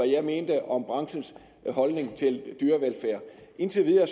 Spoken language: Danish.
jeg mente om branchens holdning til dyrevelfærd indtil videre